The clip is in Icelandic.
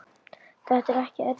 Þetta er ekki erfitt.